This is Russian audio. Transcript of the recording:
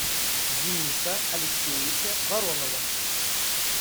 дениса алексеевича воронова